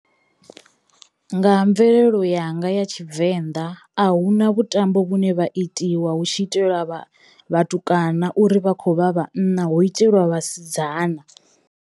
Nga mvelelo yanga ya Tshivenḓa a hu na vhutambo vhune vha itiwa hu tshi itelwa vha vhatukana uri vha khovha vhanna hu itelwa vhasidzana.